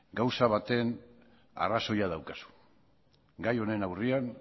gauza batean arrazoia daukazu gai honen aurrean